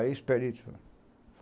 Aí os peritos...